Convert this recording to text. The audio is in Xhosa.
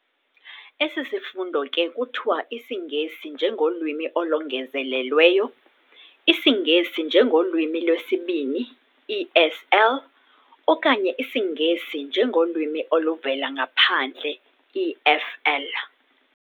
Esi sifundo ke kuthiwa IsiNgesi njengolwimi olongezelelweyo, isiNgesi ngengolwimi lwesiBini, ESL, okanye isiNgesi njengolwimi oluvela ngaphandle, EFL.